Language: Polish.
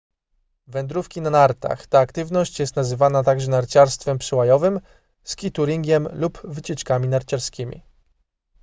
wędrówki na nartach ta aktywność jest nazywana także narciarstwem przełajowym skitouringiem lub wycieczkami narciarskimi